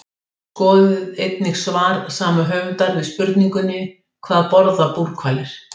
Skoðið einnig svar sama höfundur við spurningunni Hvað borða búrhvalir?